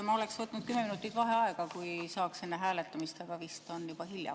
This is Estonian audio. Ma oleks võtnud 10 minutit vaheaega, kui saaks enne hääletamist, aga vist on juba hilja.